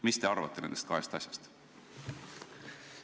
Mis te arvate nendest kahest asjast?